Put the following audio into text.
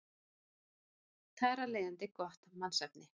Þar af leiðandi gott mannsefni.